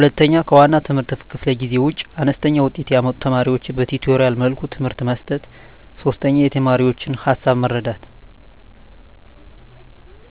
2, ከዋና የትምህርት ክፍለ ጊዜ ውጭ አነስተኛ ውጤት ያመጡ ተማሪዎቻቸውን በቲቶሪያል መልኩ ትምህርት መስጠት። 3, የተማሪዎቻቸውን ሀሳብ መረዳት